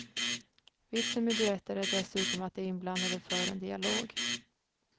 Vitsen med duetter är dessutom att de inblandade för en dialog.